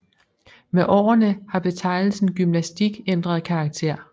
Med årene har betegnelsen gymnastik ændret karakter